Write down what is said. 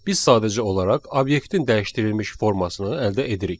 Biz sadəcə olaraq obyektin dəyişdirilmiş formasını əldə edirik.